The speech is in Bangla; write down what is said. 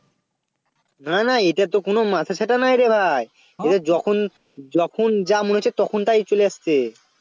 না না এটা তো কোনো মাথা ছাতা নেই রে ভাই এদের যখন যখন যা মনে হচ্ছে তখন তাই চলে আসছে